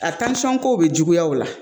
A kow be juguya u la